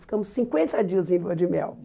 Ficamos cinquenta dias em Lua de Mel.